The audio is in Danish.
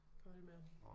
På hold med ham